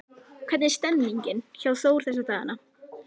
Hvernig er stemmningin hjá Þór þessa dagana?